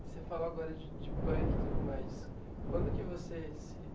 Você falou agora de de punk e tudo mais. Quando que você se